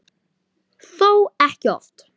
Þó ekki oft.